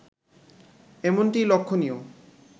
এমনটিই লক্ষণীয়